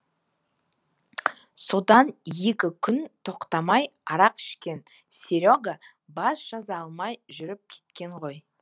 содан екі күн тоқтамай арақ ішкен серега бас жаза алмай жүріп кеткен ғой